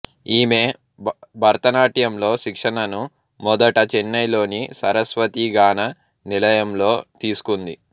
ఈమె భరతనాట్యంలో శిక్షణను మొదట చెన్నైలోని సరస్వతీ గాన నిలయంలో తీసుకుంది